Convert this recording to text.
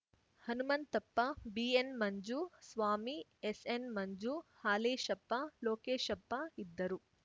ಹನುಮಂತಪ್ಪ ಬಿಎನ್‌ಮಂಜು ಸ್ವಾಮಿ ಎಸ್‌ಎನ್‌ಮಂಜು ಹಾಲೇಶಪ್ಪ ಲೋಕೇಶಪ್ಪ ಇದ್ದರು